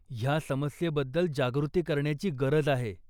ह्या समस्येबद्दल जागृती करण्याची गरज आहे.